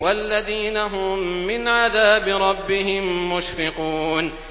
وَالَّذِينَ هُم مِّنْ عَذَابِ رَبِّهِم مُّشْفِقُونَ